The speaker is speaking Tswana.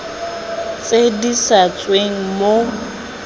tse di sa tsweng mo